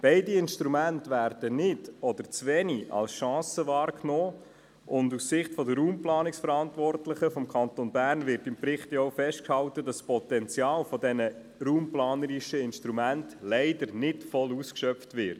Beide Instrumente werden nicht oder zu wenig als Chance wahrgenommen, und die Verantwortlichen für die Raumplanung des Kantons Bern halten im Bericht fest, dass das Potenzial dieser raumplanerischen Instrumente leider nicht voll ausgeschöpft wird.